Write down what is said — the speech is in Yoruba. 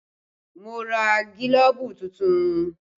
Mo ra gílóbú tuntun